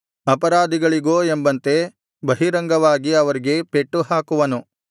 ಅಪರಾಧಿಗಳಿಗೋ ಎಂಬಂತೆ ಬಹಿರಂಗವಾಗಿ ಅವರಿಗೆ ಪೆಟ್ಟುಹಾಕುವನು